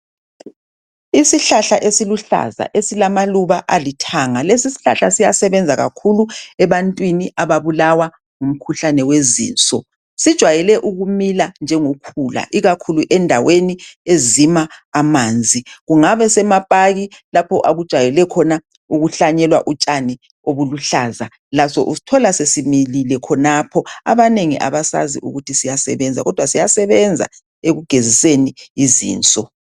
Isihlahla esiluhlaza esilamaluba alithanga, lesishlahla siyasebenza kakhulu ebantwini ababulawa ngumkhuhlane wezinso. Sijwayele ukumila njengokhula ikakhulu endaweni ezima amanzi kungabe semapaki lapho okujayele khona ukuhlanyelwa utshani obuluhlaza laso usthola sesimilile khonapho abanengi abasazi ukuthi siyasebenza kodwa siyasebenza ekugeziseni izinso.